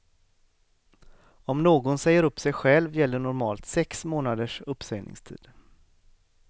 Om någon säger upp sig själv gäller normalt sex månaders uppsägningstid.